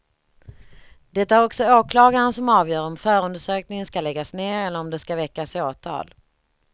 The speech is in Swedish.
Det är också åklagaren som avgör om förundersökningen ska läggas ned eller om det ska väckas åtal.